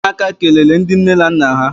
Umuaka kelele ndi nne na nna ha.